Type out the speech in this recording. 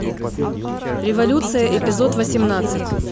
революция эпизод восемнадцать